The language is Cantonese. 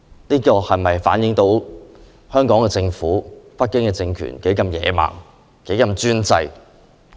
這是否反映出特區政府和北京政權的野蠻專制？